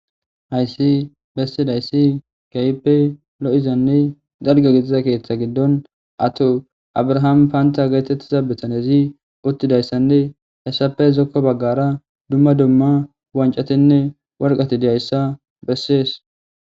Hayssi bessidayssi kayipe lo7izanni darge gitiza keeththa giddon ato abrahaami paanta geetettiza bitanezi uttidayssanne hessafe zokko baggara dumma dumma wancatinne warqati diyayssa bessees